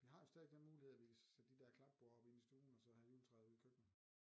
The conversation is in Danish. Vi har jo stadigvæk den mulighed at vi kan sætte de dér klapborde op inde i stuen og så have juletræet ude i køkkenet